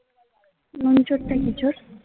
নুন চোর টা কি চোর